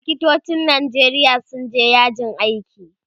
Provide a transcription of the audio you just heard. likitocin Nijeria sun je yajin aiki